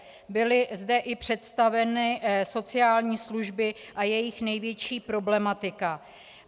Byly zde i představeny sociální služby a jejich největší problematika.